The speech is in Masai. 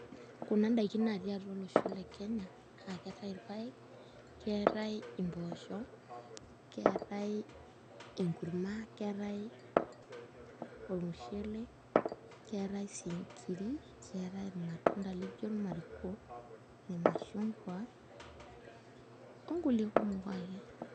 Kuna ndaikin naatii atua olosho le Kenya aa keetai irpaek, keetai mpoosho keetai enkurma keetai ormushele keetai sii nkiri keetai irmatunda lijo irmariko irmashungwa onkulie kumok ake.